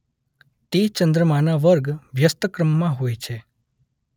તે ચંદ્રમાના વર્ગ વ્યસ્તક્રમમાં હોય છે.